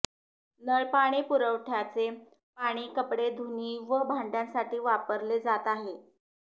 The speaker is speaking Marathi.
नळपाणी पुरवठ्याचे पाणी कपडे धुणी व भांड्यासाठी वापरले जात आहे